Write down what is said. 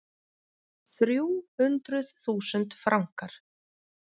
Þrjú hundruð þúsund frankar.